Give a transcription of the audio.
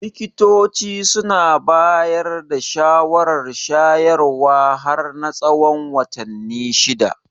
Likitoci suna bayar da shawarar shayarwa har na tsawon watanni shida.